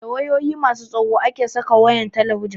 Da wayoyi masu tsawo ake saka wayan talabijin